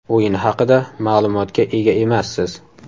O‘yin haqida ma’lumotga ega emassiz.